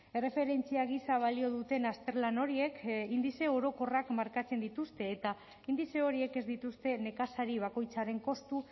erreferentzia gisa balio duten azterlan horiek indize orokorrak markatzen dituzte eta indize horiek ez dituzte nekazari bakoitzaren kostu